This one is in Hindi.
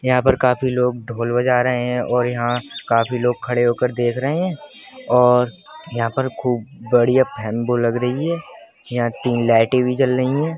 यहाँ पर काफी लोग ढोल बजा रहें हैं और यहाँ काफी लोग खड़े होकर देख रहे हैं और यहाँ पर खूब बढ़िया फेन बो लग रही है यहाँ तीन लाइटें भी जल रहीं हैं।